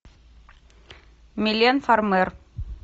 милен фармер